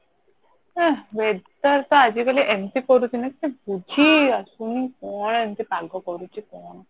ଆଁ weather ତ ଆଜି କାଲି ଏମତି କରୁଚି ନା କିଛି ବୁଝି ହିଁ ଆସୁନି କଣ ଏମିତି ପାଗ କରୁଚି